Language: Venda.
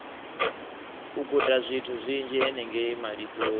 u gudazwithu zwinzhi henengei malisoni